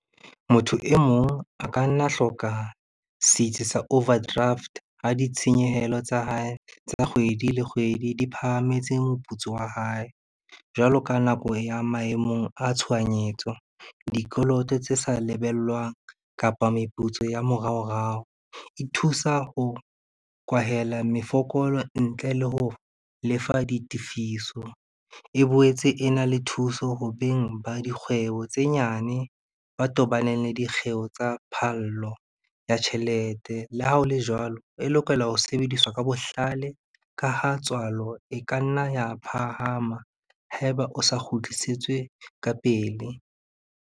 Motho e mong a ka nna hloka setsi sa overdraft ha ditshenyehelo tsa hae tsa kgwedi le kgwedi, di phahametse moputso wa hae. Jwalo ka nako ya maemong a tshohanyetso, dikoloto tse sa lebellwang kapa meputso ya moraorao, e thusa ho kwahela mefokolo ntle le ho lefa ditefiso. E boetse e na le thuso ho beng ba dikgwebo tse nyane, ba tobaneng le dikgeo tsa phallo ya tjhelete. Le ha o le jwalo, e lokela ho sebediswa ka bohlale, ka ha tswalo e ka nna ya phahama haeba o sa kgutlisetswe ka pele.